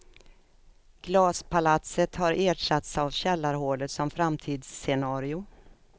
Glaspalatset har ersatts av källarhålet som framtidsscenario.